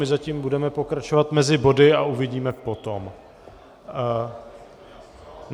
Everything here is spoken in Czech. My zatím budeme pokračovat mezi body a uvidíme potom.